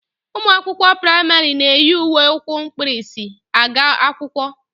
Ụmụ akwụkwọ praịmarị na-eyi uwe ukwu mkpirisi aga akwụkwọ